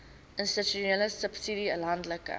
institusionele subsidie landelike